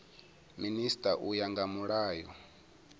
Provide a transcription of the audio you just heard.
minisita u ya nga mulayo